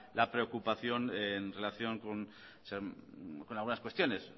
la preocupación en relación con algunas cuestiones